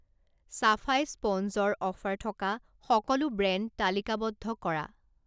চাফাই স্পঞ্জৰ অফাৰ থকা সকলো ব্ৰেণ্ড তালিকাবদ্ধ কৰা।